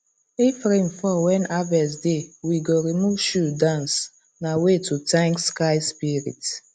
if rain fall when harvest deywe go remove shoe dance na way to thank sky spirit